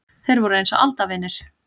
Þeir voru eins og aldavinir.